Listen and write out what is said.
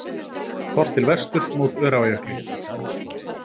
Horft til vesturs, mót Öræfajökli.